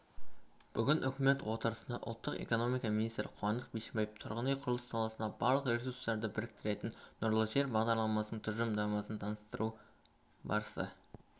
бүгін үкімет отырысында ұлттың экономика министрі қуандық бишімбаев тұрғын үй құрылысы саласындағы барлық ресурстарды біріктірген нұрлы жер бағдарламасы тұжырымдамасын таныстыру барысында